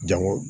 Jango